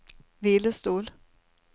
hvilestol